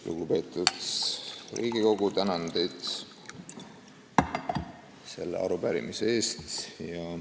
Lugupeetud Riigikogu, tänan teid selle arupärimise eest!